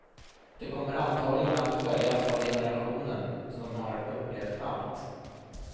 De kommer antagligen att följas av generationen som har upplevt allt.